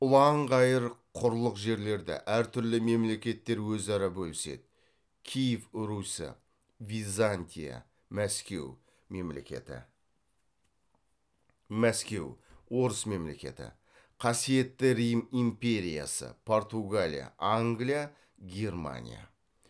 ұлан ғайыр құрлық жерлерді әр түрлі мемлекеттер өзара бөліседі киев русі византия мәскеу орыс мемлекеті қасиетті рим империясы португалия англия германия